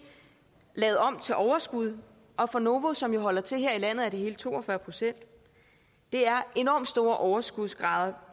lavet om til overskud og for novo som jo holder til her i landet er det hele to og fyrre procent det er enormt store overskudsgrader